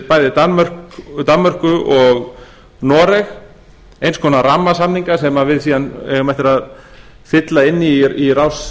bæði danmörku og noreg eins konar rammasamninga sem við síðan eigum eftir að fylla inn í í rás